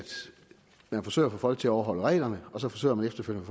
man forsøger at få folk til at overholde reglerne og så forsøger man efterfølgende